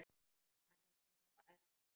Hann er sá eldri okkar.